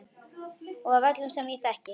Og af öllum sem ég þekki.